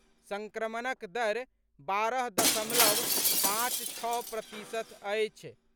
सङ्क्रमणक दर बारह दशमलव पाँच छओ प्रतिशत अछि।